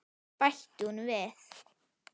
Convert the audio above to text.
bætti hún við.